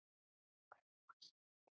Gróa systir.